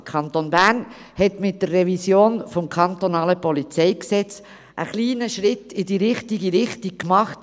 Der Kanton Bern hat mit der Revision des kantonalen Polizeigesetzes (PolG) in Sachen Opferschutz einen kleinen Schritt in die richtige Richtung gemacht.